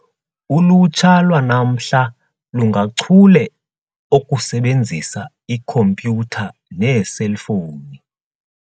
Ulutsha lwanamhla lungachule okusebenzisa ikhompyutha neeselfowuni.